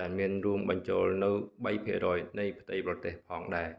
ដែលមានរួមបញ្ចូលនូវ 3% នៃផ្ទៃប្រទេសផងដែរ